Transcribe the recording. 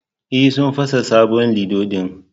E, sun fasa sabon lido din